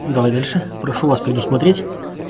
давай дальше прошу вас предусмотреть